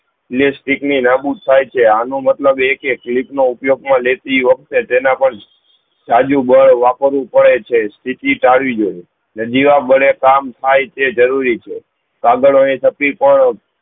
લેશ ચીકણી લાંબુ થાય છે આનો મતલબ એ કે ફ્લીપ નો ઉપયોગ માં લેતી વખતે તેના પર સાદું બળ વાપરું પડે છે તેથી ટાળવી જો અને જેવા બળે કામ થાય તે જરૂરી છે કાગડો ને થતી પણ